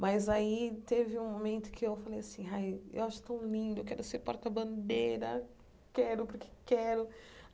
Mas aí teve um momento que eu falei assim ai, eu acho tão lindo, eu quero ser porta-bandeira, quero porque quero.